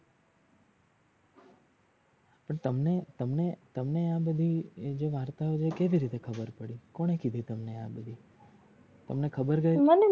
પણ તમને તમને તમને એ બધી જે વરતાઓ છે એ કેમની ખબર પડી કોને કીધી તમને એ બધી તમને ખબર કેવી